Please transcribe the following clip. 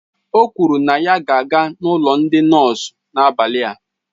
O kwụrụ na ya ga-aga na ụlọ ndị nọọsụ n'abalị a